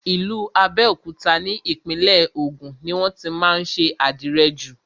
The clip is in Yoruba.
Ìlú Abẹ́òkúta ni Ìpínlẹ̀ Ògùn ni wọ́n tí má ń ṣe àdìrẹ jù.